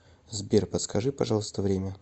сбер подскажи пожалуйста время